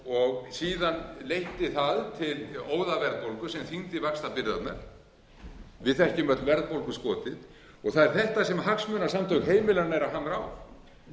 og síðan leiddi það til óðaverðbólgu sem þyngdi vaxtabyrðarnar við þekkjum öll verðbólguskotið það er þetta sem hagsmunasamtök heimilanna eru að hamra á